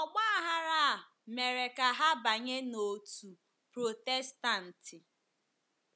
Ọgba aghara a mere ka ha banye n’òtù Protestantị.